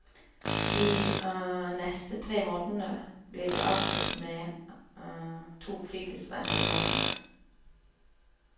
De neste tre månedene blir de avspist med to fritidsreiser i måneden.